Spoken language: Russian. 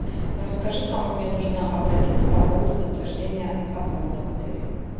расскажи к кому мне нужно обратиться по поводу подтверждения оплаты в отеле